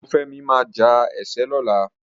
Ọlọ́runfẹ́mi máa ja ẹ̀ṣẹ́ lọ́la.